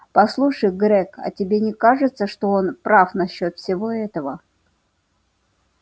послушай грег а тебе не кажется что он прав насчёт всего этого